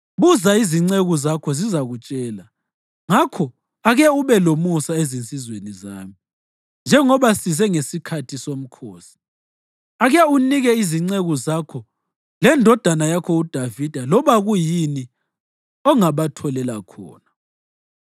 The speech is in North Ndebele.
Buza izinceku zakho zizakutshela. Ngakho ake ube lomusa ezinsizweni zami, njengoba size ngesikhathi somkhosi. Ake unike izinceku zakho lendodana yakho uDavida loba kuyini ongabatholela khona.’ ”